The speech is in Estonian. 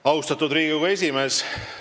Austatud Riigikogu esimees!